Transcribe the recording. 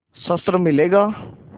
शस्त्र मिलेगा